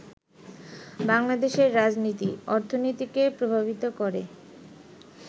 বাংলাদেশের রাজনীতি, অর্থনীতিকে প্রভাবিত করে